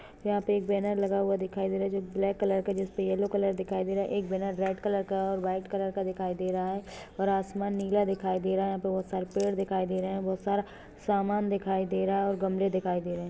यहा पर एक बेंनर बना दिखाई दे रहा है जो ब्लैक कलर का जिसपे यल्लो कलर दिखाई दे रहा है एक बेनर रेड कलर का और वाईट कलर का दिखाई दे रहा है और आसमान नीला दिखाई दे रहा है बहुत सारे पेड़ दिखाई दे रहे है बहुत सारा सामान दिखाई दे रहा है और गमले दिखाई दे रहे है।